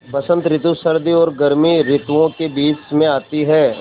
बसंत रितु सर्दी और गर्मी रितुवो के बीच मे आती हैँ